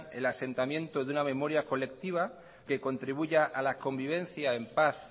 el asentamiento de una memoria colectiva que contribuya a la convivencia en paz